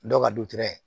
Dɔ ka du tɛ